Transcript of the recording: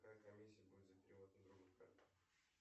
какая комиссия будет за перевод на другую карту